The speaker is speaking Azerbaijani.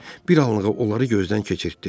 Bir anlığına onları gözdən keçirtdi.